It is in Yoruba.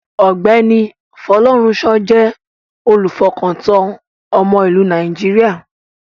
Ọ̀gbẹ́ni Folorunsho jẹ́ olùfọkàntán ọmọ ìlú Nàìjíríà.